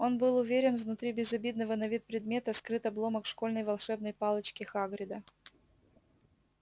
он был уверен внутри безобидного на вид предмета скрыт обломок школьной волшебной палочки хагрида